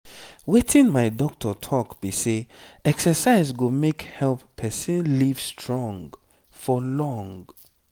wetin my doctor talk be say exercise go help person live strong for long.